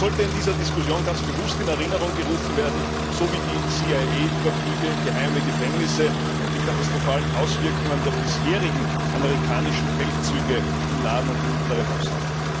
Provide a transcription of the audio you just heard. Das sollte in der Diskussion ganz bewusst in Erinnerung gerufen werden, sowie die CIA Überflüge, die geheimen Gefängnisse und die katastrophalen Auswirkungen der bisherigen amerikanischen Feldzüge im Nahen und im Mittleren Osten.